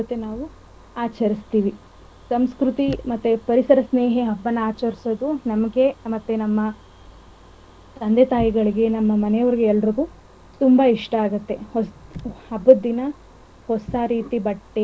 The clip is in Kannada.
ನಾವು ಆಚರಿಸ್ತಿವಿ ಸಂಸ್ಕೃತಿ ಮತ್ತೆ ಪರಿಸರ ಸ್ನೇಹಿ ಹಬ್ಬನ ಆಚರಿಸೋದು ನಮ್ಗೆ ಮತ್ತೆ ನಮ್ಮ ತಂದೆ -ತಾಯಿಗಳಿಗೆ ನಮ್ಮ ಮನೆವರಿಗೆ ಎಲ್ಲರುಗೂ ತುಂಬಾ ಇಷ್ಟ ಆಗುತ್ತೆ. ಹಬ್ಬದ ದಿನ ಹೊಸಾ ರೀತಿ ಬಟ್ಟೆ ಸಿಹಿ ತಿನಿಸು ತಿನ್ನೋದು.